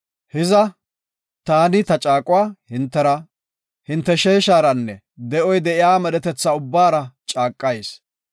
“Hiza, taani ta caaquwa hintera, hinte sheesharanne de7oy de7iya medhetetha ubbaara caaqayis.